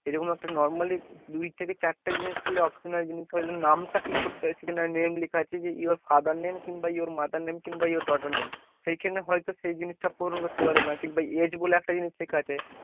সেরকম একটা normally দুই থেকে চার টা জিনিস optionally নাম টা name লেখা আছে যে your father name কিংবা your mother name কিংবা your daughter name সেই খানে হয়ত সেই জিনিস টা পূরণ করতে পারো না, কিংবা age বলে একটা জিনিস লেখা আছে,